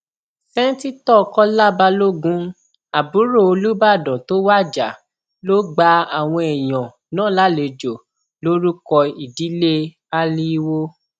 sẹńtítọ kọlá balógun àbúrò olùbàdàn tó wájà ló gba àwọn èèyàn náà lálejò lórúkọ ìdílé aliiwo